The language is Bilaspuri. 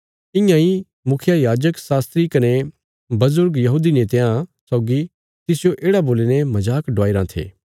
इयां इ मुखियायाजक शास्त्री कने बजुर्ग यहूदी नेतयां सौगी तिसजो येढ़ा बोलीने मजाक डवाईराँ थे